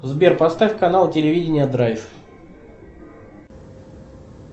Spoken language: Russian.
сбер поставь канал телевидения драйв